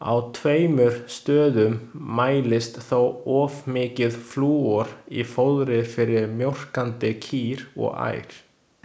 Á tveimur stöðum mælist þó of mikið flúor í fóðri fyrir mjólkandi kýr og ær.